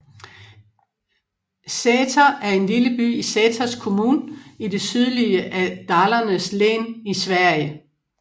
Säter er en lille by i Säters kommun i det sydlige af Dalarnas län i Sverige